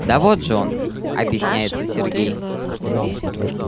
да вот же он объясняется сергей